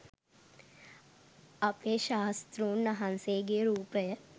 අපේ ශාස්තෲන් වහන්සේගේ රූපය